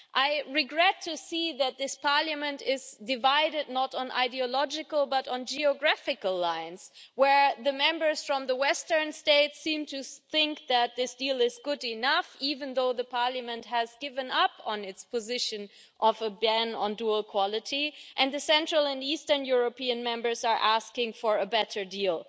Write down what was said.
I regret to see that this Parliament is divided not on ideological lines, but on geographical lines, where Members from the western states seem to think that this deal is good enough, even though Parliament has given up on its position of banning dual quality and the Central and Eastern European Members are asking for a better deal.